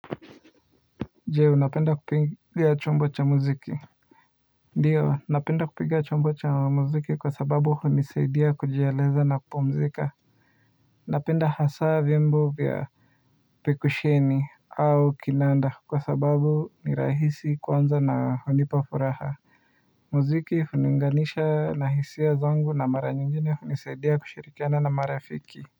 Je, unapenda kupiga chombo cha mziki? Ndio, napenda kupiga chombo cha mziki kwa sababu hunisaidia kujieleza na kupumzika. Napenda hasa vyombo vya pekusheni au kinanda kwa sababu ni rahisi kwanza na hunipa furaha. Mziki huniunganisha na hisia zangu na mara nyingine hunisaidia kushirikiana na marafiki.